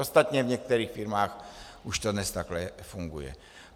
Ostatně v některých firmách už to dnes takhle funguje.